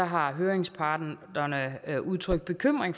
har høringsparterne udtrykt bekymring